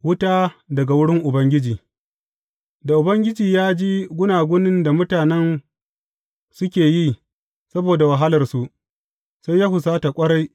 Wuta daga wurin Ubangiji Da Ubangiji ya ji gunagunin da mutanen suke yi saboda wahalarsu, sai ya husata ƙwarai.